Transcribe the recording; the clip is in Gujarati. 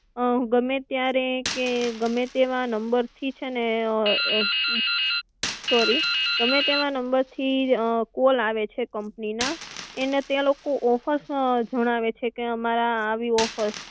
ગમે ત્યારે કે ગમે તેવા નંબર થી છેને, સોરી ગમે તેવા નંબર થી કોલ આવે છે કંપની ના એને તે લોકો ઑફર્સ જણાવે છે કે અમારે આવી ઑફર્સ